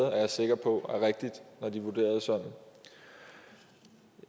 er jeg sikker på når de vurderede sådan